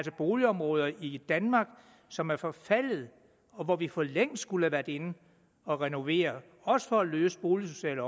boligområder i danmark som er forfaldne og hvor vi for længst skulle have været inde at renovere også for at løse boligsociale